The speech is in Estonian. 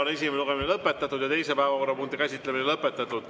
Esimene lugemine on lõpetatud ja teise päevakorrapunkti käsitlemine on lõpetatud.